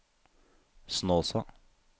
Snåsa